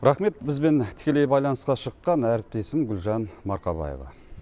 рақмет бізбен тікелей байланысқа шыққан әріптесім гулжан марқабаева